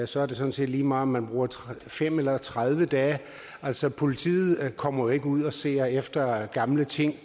så er det sådan set lige meget om man bruger fem eller tredive dage altså politiet kommer jo ikke ud og ser efter gamle ting